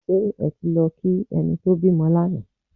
Ṣé ẹ ti lọ kí ẹni tó bímọ lánàá?